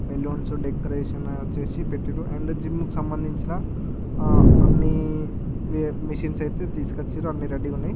Balloons decoration చేసి పెట్టారు and gym కి సంబంధించిన అన్ని మిషన్స్ అయితే తీసుకొచ్చి ఉన్నారు అని రెడీ గ ఉన్నాయి.